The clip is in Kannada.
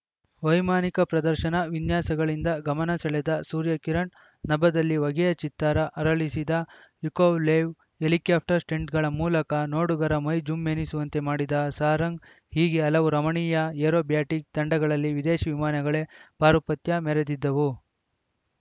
ವೈಮಾನಿಕ ಪ್ರದರ್ಶನ ವಿನ್ಯಾಸಗಳಿಂದ ಗಮನ ಸೆಳೆದ ಸೂರ್ಯಕಿರಣ್‌ ನಭದಲ್ಲಿ ಹೊಗೆಯ ಚಿತ್ತಾರ ಅರಳಿಸಿದ ಯುಕೊವ್ಲೇವ್‌ ಹೆಲಿಕಾಪ್ಟರ್‌ ಸ್ಟಂಟ್‌ಗಳ ಮೂಲಕ ನೋಡುಗರ ಮೈ ಜುಮ್‌ ಎನಿಸುವಂತೆ ಮಾಡಿದ ಸಾರಂಗ್‌ ಹೀಗೆ ಹಲವು ರಮಣೀಯ ಏರೋಬ್ಯಾಟಿಕ್‌ ತಂಡಗಳಲ್ಲಿ ವಿದೇಶಿ ವಿಮಾನಗಳೇ ಪಾರುಪತ್ಯ ಮೆರೆದಿದ್ದವು